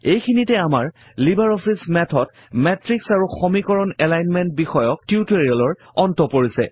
এইখিনিতে আমাৰ LibreOffice Math ত মাতৃশ আৰু সমীকৰণ এলাইনমেন্ট বিষয়ক টিউটৰিয়েলৰ অন্ত পৰিছে